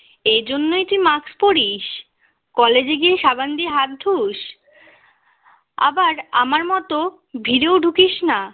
এই জন্যই কি mask পড়িস college এ গিয়ে সাবান দিয়ে হাত ধুস আবার আমার মতো ভিড়েও ঢুকিস না